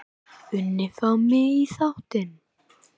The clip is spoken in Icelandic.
unni fá mig í þáttinn?